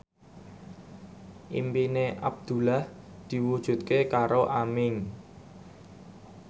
impine Abdullah diwujudke karo Aming